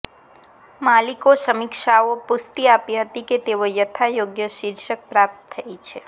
માલિકો સમીક્ષાઓ પુષ્ટિ આપી હતી કે તેઓ યથાયોગ્ય શીર્ષક પ્રાપ્ત થઈ છે